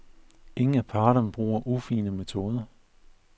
Ingen af parterne bruger ufine metoder.